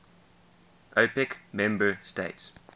opec member states